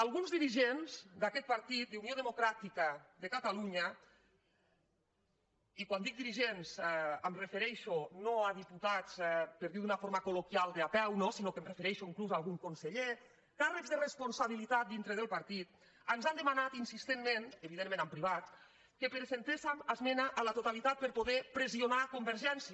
alguns dirigents d’aquest partit d’unió democràtica de catalunya i quan dic dirigents em refereixo no a diputats per dirho d’una forma col·loquial de peu sinó que em refereixo inclús a algun conseller càrrecs de responsabilitat dintre del partit ens han demanat insistentment evidentment en privat que presentéssem esmena a la totalitat per poder pressionar convergència